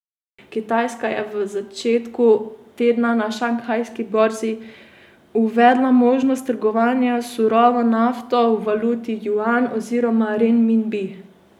Kitajska je v začetku tedna na šanghajski borzi uvedla možnost trgovanja s surovo nafto v valuti juan oziroma renminbi.